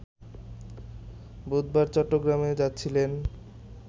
বুধবার চট্টগ্রামে যাচ্ছিলেন